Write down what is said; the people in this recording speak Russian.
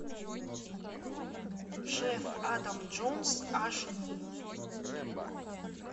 шеф адам джонс аш ди